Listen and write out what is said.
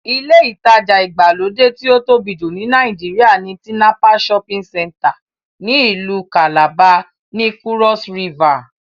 Ilé ìtajà ìgbàlódé tí ó tóbi jù ní Nàìjíríà ni Tinapa shopping center ní ìlú kàlàba, ní kúrọ́s rivà